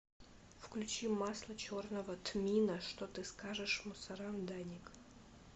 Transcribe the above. включи масло черного тмина что ты скажешь мусорам даник